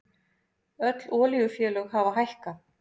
Öll olíufélög hafa hækkað